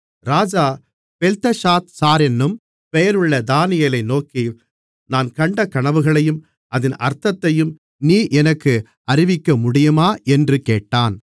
ராஜா பெல்தெஷாத்சாரென்னும் பெயருள்ள தானியேலை நோக்கி நான் கண்ட கனவுகளையும் அதின் அர்த்தத்தையும் நீ எனக்கு அறிவிக்கமுடியுமா என்று கேட்டான்